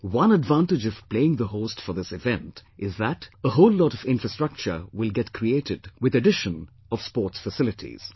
One advantage of playing the host for this event is that a whole lot of infrastructure will get created with addition of sports facilities